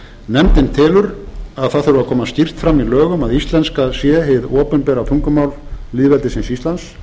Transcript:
nefndin telur að það þurfi að koma skýrt fram í lögum að íslenska sé hið opinbera tungumál lýðveldisins íslands